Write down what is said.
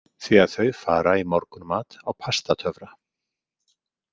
Því að þau fara í morgunmat á Pastatöfra.